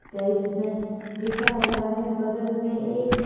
types में लिखा हुआ है बगल में एक--